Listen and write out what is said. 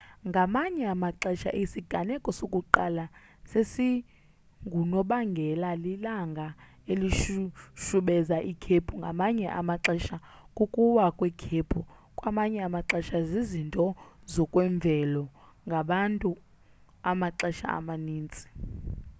ngamanye amaxesha isiganeko sokuqala sesingunobangela lilanga elishushubeza ikhephu ngamanye amaxesha kukuwa kwekhephu kwamanye amaxesha zizinto zokwemvelo ngabantu amaxesha amaninzi